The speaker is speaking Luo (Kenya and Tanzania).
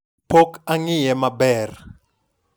Pok ang'iye maber.